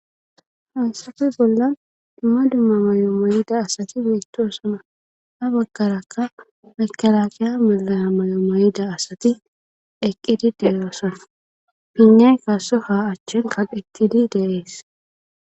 Hansafe bolla dumma dumma may'o mayida asati wettosona ha baggaraka mekalakiya malaya may'o may'ida asati eqqide deeyoosona pinay kasoha achchin kaqettide deees.